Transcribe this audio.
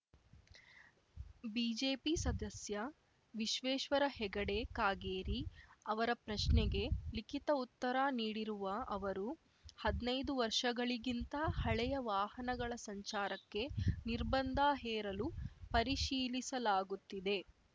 BJP ಸದಸ್ಯ ವಿಶ್ವೇಶ್ವರ ಹೆಗಡೆ ಕಾಗೇರಿ ಅವರ ಪ್ರಶ್ನೆಗೆ ಲಿಖಿತ ಉತ್ತರ ನೀಡಿರುವ ಅವರು ಹದ್ನೈದು ವರ್ಷಗಳಿಗಿಂತ ಹಳೆಯ ವಾಹನಗಳ ಸಂಚಾರಕ್ಕೆ ನಿರ್ಬಂಧ ಹೇರಲು ಪರಿಶೀಲಿಸಲಾಗುತ್ತಿದೆ